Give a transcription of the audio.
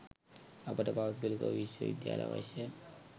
අපට පෞද්ගලික විශ්ව විද්‍යාල අවශ්‍ය?